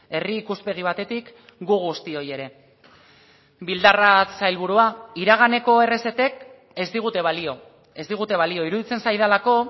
herri ikuspegi batetik gu guztioi ere bildarratz sailburua iraganeko errezetek ez digute balio ez digute balio iruditzen zaidalako